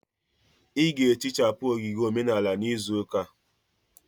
Ị ga-ehichapụ ogige omenala n'izu ụka a.